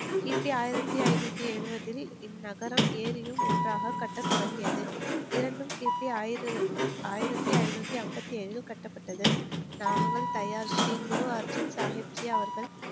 கிபி ஆயிரத்தி ஐந்நூத்தி எழுபதில் இந்நகரம் ஏரியும் ஒன்றாக கட்டத் தொடங்கியது இரண்டும் கிபி ஆயிர ஆயிரத்தி ஐந்நூத்தி ஐம்பத்தி ஏழில் கட்டப்பட்டது நாகங்கள் தயார் ஸ்ரீ குரு அர்ஜுன் சாஹிப் சி அவர்கள்